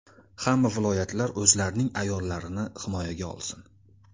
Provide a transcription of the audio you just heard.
Hamma viloyatlar o‘zlarining ayollarini himoyaga olsin.